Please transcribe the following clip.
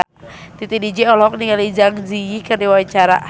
Titi DJ olohok ningali Zang Zi Yi keur diwawancara